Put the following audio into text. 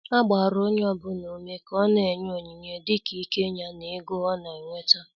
A gbara onye ọbụla ùmè ka ó na-enye onyinye dịka íké ya na ègò ọ̀ na-enweta.